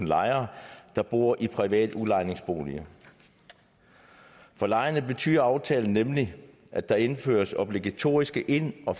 lejere der bor i private udlejningsboliger for lejerne betyder aftalen nemlig at der indføres obligatoriske ind og